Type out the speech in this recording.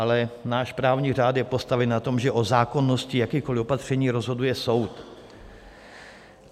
Ale náš právní řád je postaven na tom, že o zákonnosti jakýkoliv opatření rozhoduje soud.